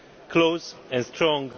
close and strong.